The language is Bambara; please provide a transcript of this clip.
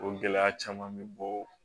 O gɛlɛya caman bɛ bɔ